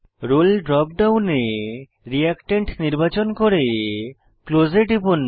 role drop ডাউনে reactant নির্বাচন করে ক্লোজ এ টিপুন